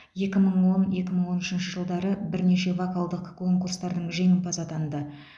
екі мың он екі мың он үшінші жылдары бірнеше вокалдық конкурстардың жеңімпазы атанды